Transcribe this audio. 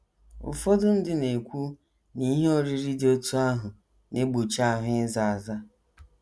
Ụfọdụ ndị na - ekwu na ihe oriri dị otú ahụ na - egbochi ahụ ịza aza.